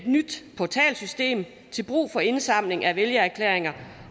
nyt portalsystem til brug for indsamling af vælgererklæringer